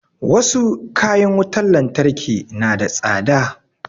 Wasu kayan wutar lantarki na da tsada